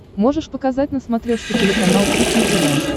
можешь показать на смотрешке телеканал кухня тв